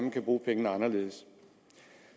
man kan bruge pengene anderledes